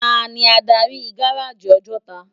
Táni ádári gáráji Òjòtá?